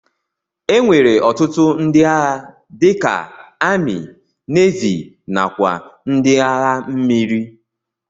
Enwere ọtụtụ ndi agha dika ami, navi nakwa ndi agha mmiri.